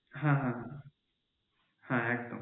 হ্যাঁ হ্যাঁ হ্যাঁ হ্যাঁ একদম